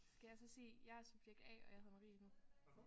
Skal jeg så sige jeg er subjekt A og jeg hedder Marie nu?